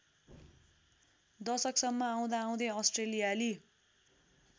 दशकसम्म आउँदाआउँदै अस्ट्रेलियाली